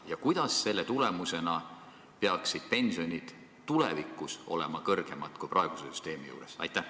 Ja kuidas selle tulemusena peaksid pensionid tulevikus olema kõrgemad kui praeguse süsteemi korral?